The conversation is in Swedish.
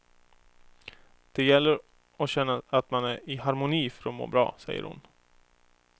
Det gäller att känna att man är i harmoni för att må bra, säger hon.